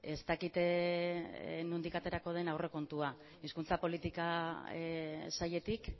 ez dakit nondik aterako den aurrekontua hizkuntza politika sailetik